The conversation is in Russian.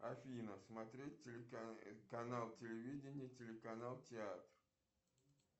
афина смотреть канал телевидения телеканал театр